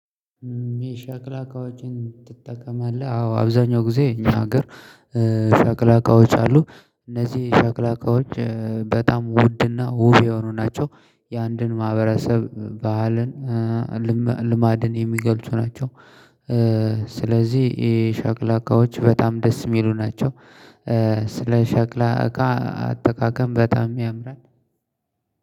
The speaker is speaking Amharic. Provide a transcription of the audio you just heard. የሻክላ እቃዎችን ትጠቀማለህ? አዎ አብዛኛው ጊዜ እኛ ሀገር ሻክላ እቀዎች አሉ እነዚህ ሻክላ እቀዎች በጣም ውድና ውብ የሆኑ ናቸው። የአንድን ማህበረሰብ ባህልን ልማድን የሚገልጡ ናቸው። ስለዚህ የሻክለ እቃዎች በጣም ደስ የሚሉ ናቸው። ስለ ሻክላ እቃ አጠቃቀም በጣም ያምራል።